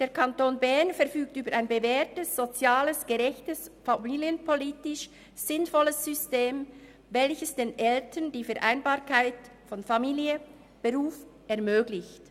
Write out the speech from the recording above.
Der Kanton Bern verfügt über ein bewährtes, soziales, gerechtes und familienpolitisch sinnvolles System, welches den Eltern die Vereinbarkeit von Familie und Beruf ermöglicht.